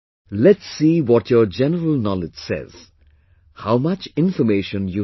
Let's see what your general knowledge says... how much information you have